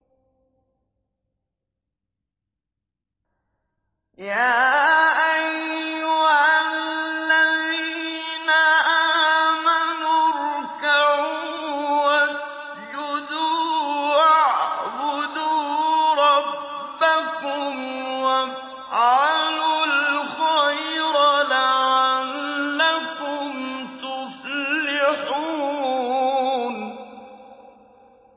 يَا أَيُّهَا الَّذِينَ آمَنُوا ارْكَعُوا وَاسْجُدُوا وَاعْبُدُوا رَبَّكُمْ وَافْعَلُوا الْخَيْرَ لَعَلَّكُمْ تُفْلِحُونَ ۩